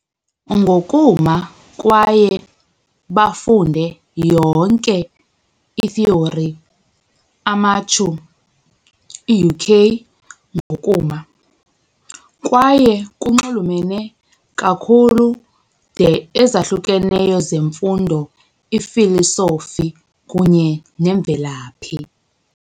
Ngokuma kwaye bafunde yonke, itheory Amechu, i-UK - ngokuma, kwaye kunxulumene kakhulu, de ezahlukeneyo zemfundo i-Philosophy kunye nemvelaphi.